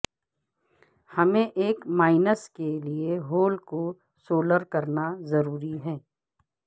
ہمیں ایک مائنس کے لئے ہول کو سولر کرنا ضروری ہے